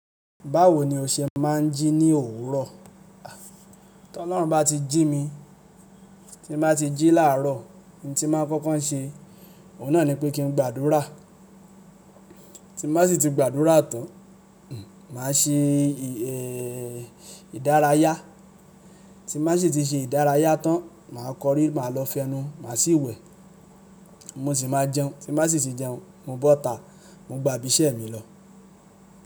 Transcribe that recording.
Báwo ni o ṣe máa ń jí ní òwúrọ̀? Tí Ọlọ́run bá ti jí mi, tí mo bá ti jí làárọ̀, ohun tí máa ń kọ́kọ́ ṣe, òun náà ni pé kí n gbàdúrà. Tí n bàá sì ti gbàdúrà tán, màá ṣe ìdárayá. Tí màá sì ti ṣe ìdárayá tán, màá kọrí, màá lọ fẹnu, màá sì wẹ̀. Mo sì máa jẹun, tí màá sì ti jẹun, mo bọ́ta, mo gba ibi iṣẹ́ mi lọ.